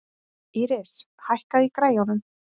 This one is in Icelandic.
Ísis, hækkaðu í græjunum.